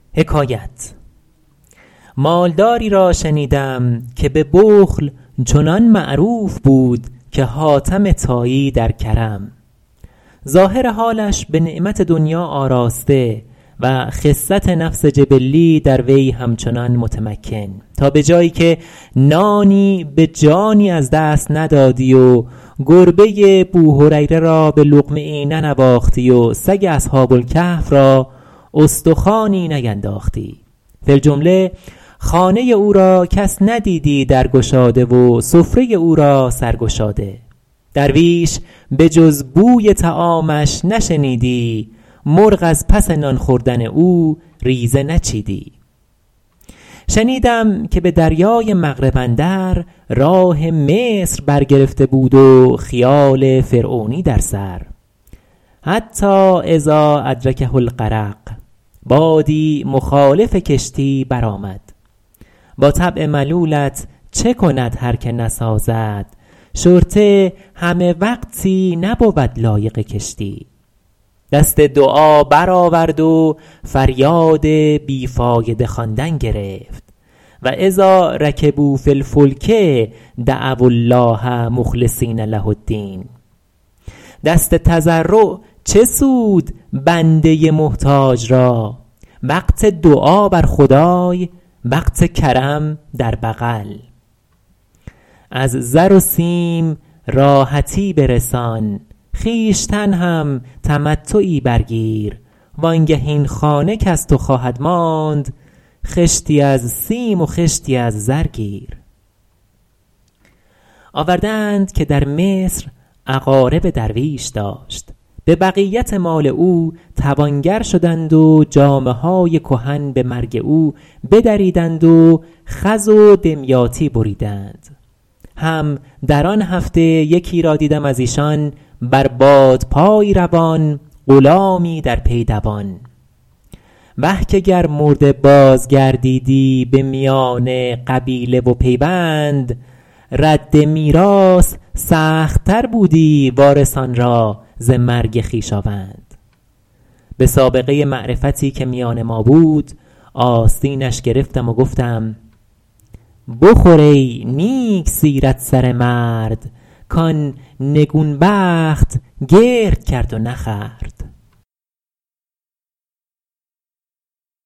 مال داری را شنیدم که به بخل چنان معروف بود که حاتم طایی در کرم ظاهر حالش به نعمت دنیا آراسته و خست نفس جبلی در وی همچنان متمکن تا به جایی که نانی به جانی از دست ندادی و گربه بوهریره را به لقمه ای ننواختی و سگ اصحاب الکهف را استخوانی نینداختی فی الجمله خانه او را کس ندیدی در گشاده و سفره او را سر گشاده درویش به جز بوی طعامش نشنیدی مرغ از پس نان خوردن او ریزه نچیدی شنیدم که به دریای مغرب اندر راه مصر بر گرفته بود و خیال فرعونی در سر حتیٰ اذا ادرکه الغرق بادی مخالف کشتی برآمد با طبع ملولت چه کند هر که نسازد شرطه همه وقتی نبود لایق کشتی دست دعا برآورد و فریاد بی فایده خواندن گرفت و اذا رکبوا فی الفلک دعو الله مخلصین له الدین دست تضرع چه سود بنده محتاج را وقت دعا بر خدای وقت کرم در بغل از زر و سیم راحتی برسان خویشتن هم تمتعی بر گیر وآن گه این خانه کز تو خواهد ماند خشتی از سیم و خشتی از زر گیر آورده اند که در مصر اقارب درویش داشت به بقیت مال او توانگر شدند و جامه های کهن به مرگ او بدریدند و خز و دمیاطی بریدند هم در آن هفته یکی را دیدم از ایشان بر بادپایی روان غلامی در پی دوان وه که گر مرده باز گردیدی به میان قبیله و پیوند رد میراث سخت تر بودی وارثان را ز مرگ خویشاوند به سابقه معرفتی که میان ما بود آستینش گرفتم و گفتم بخور ای نیک سیرت سره مرد کان نگون بخت گرد کرد و نخورد